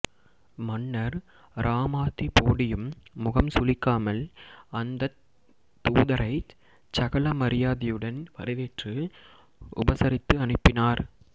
மன்னர் ராமாதிபோடியும் முகம் சுளிக்காமல் அந்தத் தூதரைச் சகல மரியாதையுடன் வரவேற்று உபசரித்து அனுப்பினார்